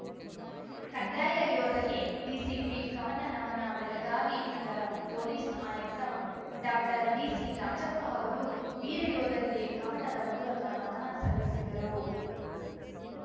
ಕಡ್ಡಾಯ ಯೋಧಗೆ ಡಿಸಿಪಿ ಕವನ ನಮನ ಬೆಳಗಾವಿ ನಗರ ಪೊಲೀಸ್‌ ಆಯುಕ್ತ ಡಾಕ್ಟರ್ಡಿಸಿರಾಜಪ್ಪ ಅವರು ವೀರ ಯೋಧರಿಗೆ ಕವನದ ಮೂಲಕ ನಮನ ಸಲ್ಲಿಸಿದರು